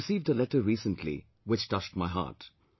I received a letter recently which touched my heart